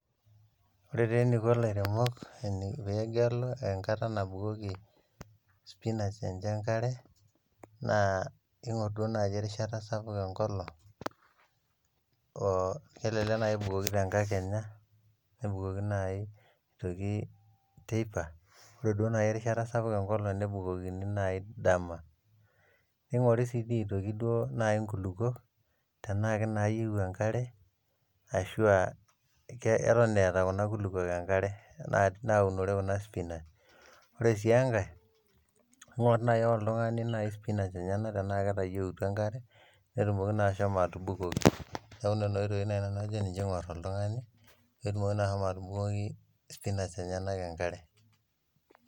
Ore taa eniko lairemok pee egelu enkata nabukoki spinach enche enkare, naa igor duo naaji erishata sapuk enkolong o elelek naaji ebukoki te nkakenya, nebukoki naaji aitoki teipa. Ore duo naaji erishata sapuk enkolong nebukoki naaji dama, keing`ori sii aitoki naaji nkulukuok tenaa kenaayieu enkare arashu aa keton eeta kuna kulukuok enkare naunore kuna spinach. Ore sii enkae ing`orr naaji ake oltung`ani naaji spinach enyena enaa ketayieuta enkare netumoki taa ashomo atubukoki. Niaku nena oitoyi naaji eing`orr oltung`ani pee etumoki naa ashomo atubukoki spinach enyenk enkare.